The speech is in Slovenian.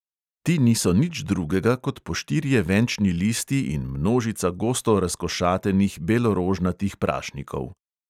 Ti niso nič drugega kot po štirje venčni listi in množica gosto razkošatenih belorožnatih prašnikov.